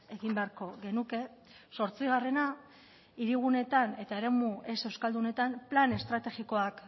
egin beharko genuke zortzigarrena hiriguneetan eta eremu ez euskaldunetan plan estrategikoak